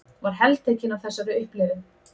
Var heltekin af þessari upplifun.